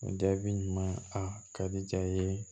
O jaabi ɲuman ye a ka di jaa ye